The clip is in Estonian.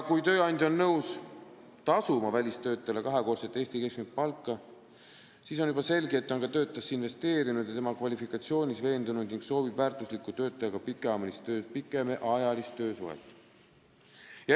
Kui tööandja on nõus tasuma välistöötajale kahekordset Eesti keskmist palka, siis on juba selge, et ta on ka töötajasse investeerinud ja tema kvalifikatsioonis veendunud ning soovib väärtusliku töötajaga pikemaajalist töösuhet.